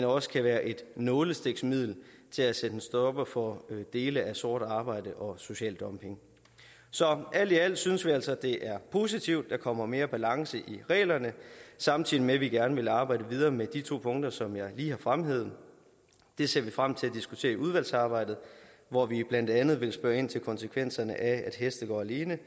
også kan være et nålestiksmiddel til at sætte en stopper for dele af sort arbejde og social dumping så alt i alt synes vi altså det er positivt at der kommer mere balance i reglerne samtidig med at vi gerne vil arbejde videre med de to punkter som jeg lige har fremhævet det ser vi frem til at diskutere i udvalgsarbejdet hvor vi blandt andet vil spørge ind til konsekvenserne af at heste går alene